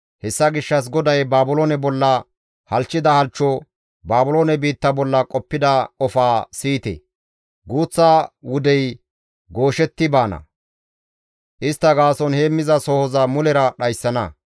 Hessa gishshas GODAY Baabiloone bolla halchchida halchcho, Baabiloone biitta bolla qoppida qofaa siyite! guuththa wudey gooshetti baana; istta gaason heemmizasohoza mulera dhayssana.